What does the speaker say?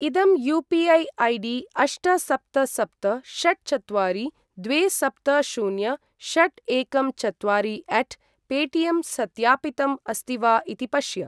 इदं UPI. ID अष्ट सप्त सप्त षट् चत्वारि द्वे सप्त शून्य षट् एकं चत्वारि अट् पेटिएम् सत्यापितम् अस्ति वा इति पश्य।